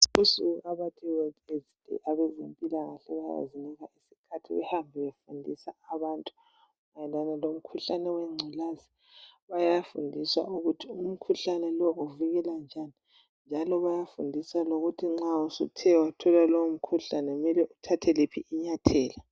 Kulosuku okuthiwa yiWorld Aids day, abezempilakahle bayazinika isikhathi behambe befundisa abantu mayelana lomkhuhlane wengculaza. Bayafundisa ukuthi umkhuhlane lowu uvikelwa njani. Njalo bayafundisa lokuthi nxa suthe wathola lowo mkhuhlane sokumele uthathe liphi inyathela.